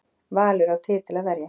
Valur á titil að verja